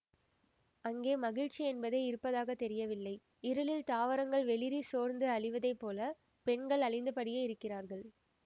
அங்கே மகிழ்ச்சி என்பதே இருப்பதாகத்தெரியவில்லை இருளில் தாவரங்கள் வெளிறி சோர்ந்து அழிவதைப்பொல பெண்கள் அழிந்தபடியே இருக்கிறார்கள்